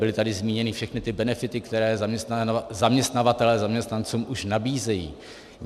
Byly tady zmíněny všechny ty benefity, které zaměstnavatelé zaměstnancům už nabízejí.